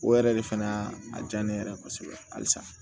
O yɛrɛ de fɛnɛ y'a diya ne yɛrɛ ye kosɛbɛ halisa